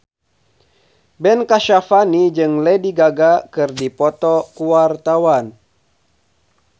Ben Kasyafani jeung Lady Gaga keur dipoto ku wartawan